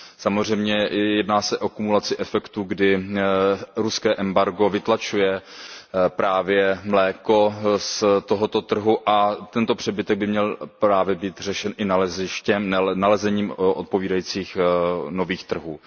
Samozřejmě jedná se o kumulaci efektu, kdy ruské embargo vytlačuje právě mléko z tohoto trhu a tento přebytek by právě měl být řešen nalezením odpovídajících nových trhů.